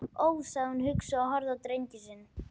Ó, sagði hún hugsi og horfði á drenginn sinn.